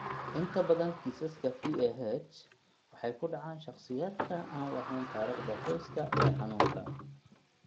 Inta badan kiisaska PAH waxay ku dhacaan shakhsiyaadka aan lahayn taariikhda qoyska ee xanuunka.